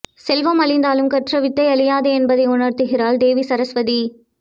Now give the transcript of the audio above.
செல்வம் அழிந்தாலும் கற்ற வித்தை அழியாது என்பதை உணர்த்துகிறாள் தேவி சரஸ்வதி